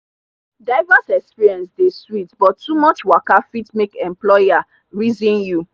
diverse experience dey sweet but too much waka fit make employer reason you.